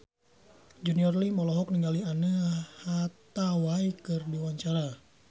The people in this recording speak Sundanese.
Junior Liem olohok ningali Anne Hathaway keur diwawancara